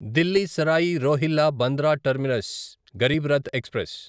Delhi Sarai Rohilla Bandra terminus Garib Rath express